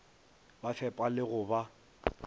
ba fepa le go ba